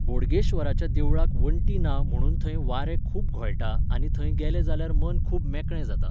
बोडगेश्वराच्या देवळाक वंटी ना म्हणून थंय वारें खूब घोळटा आनी थंय गेले जाल्यार मन खूब मेकळें जाता